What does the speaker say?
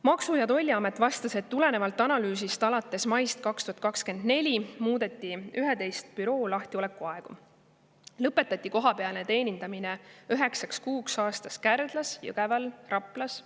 Maksu- ja Tolliamet vastas, et tulenevalt analüüsist alates maist 2024 muudeti 11 büroo lahtiolekuaegu ja lõpetati kohapealne teenindamine üheksaks kuuks aastas Kärdlas, Jõgeval ja Raplas.